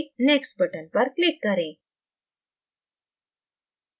next button पर click करें